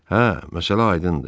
Hə, məsələ aydındır.